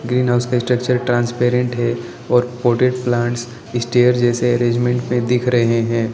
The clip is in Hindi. ग्रीनहाउस का स्ट्रक्चर ट्रांसपेरेंट है और पॉटेड प्लांट्स इस्टेयर जैसे अरेंजमेंट में दिख रहे हैं।